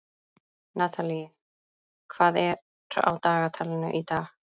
Natalie, hvað er á dagatalinu í dag?